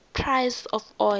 price of oil